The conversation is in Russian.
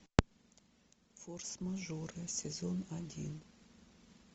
форс мажоры сезон один